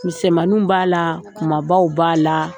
Misɛnmaninw b'a la kumabaw b'a la.